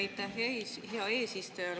Aitäh, hea eesistuja!